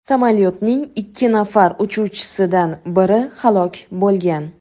Samolyotning ikki nafar uchuvchisidan biri halok bo‘lgan.